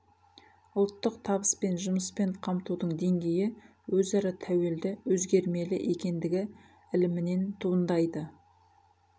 ұлттық табыс пен жұмыспен қамтудың деңгейі өзара тәуелді өзгермелі екендігі ілімінен туындайды